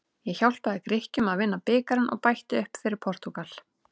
Ég hjálpaði Grikkjum að vinna bikarinn og bætti upp fyrir Portúgal.